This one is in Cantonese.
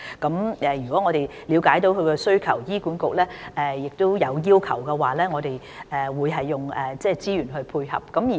在了解到病人的需求後，如醫管局亦提出要求，我們會提供資源配合。